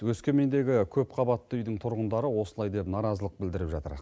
өскемендегі көпқабатты үйдің тұрғындары осылай деп наразылық білдіріп жатыр